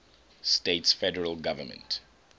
states federal government